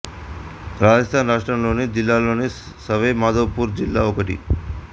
రాజస్థాన్ రాష్ట్రం లోని జిల్లాలలో సవై మధోపూర్ జిల్లా ఒకటి